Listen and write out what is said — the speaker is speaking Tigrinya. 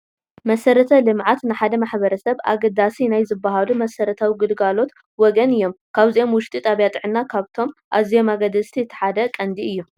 መሰረተ ልምዓት ንሓደ ማሕበረሰብ ኣገደስቲ ናይ ዝበሃሉ መሰረታዊ ግልጋሎት ወገን እዮም፡፡ ካብዚኦም ውሽጢ ጣብያ ጥዕና ካብቶ ኣዝዮም ኣገደስቲ እቲ ቀንዲ እዩ፡፡